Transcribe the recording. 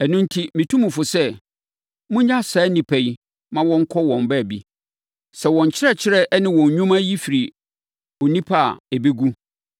Ɛno enti metu mo fo sɛ, monnyaa saa nnipa yi ma wɔnkɔ wɔn baabi. Sɛ wɔn nkyerɛkyerɛ ne wɔn nnwuma yi firi onipa a, ɛbɛgu.